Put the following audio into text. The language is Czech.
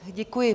Děkuji.